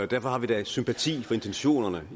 derfor har vi da sympati for intentionerne